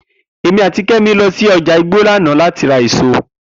Emi ati Kemi lo si oja igbo lana lati ra eso.